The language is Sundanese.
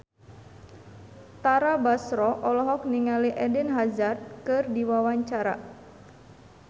Tara Basro olohok ningali Eden Hazard keur diwawancara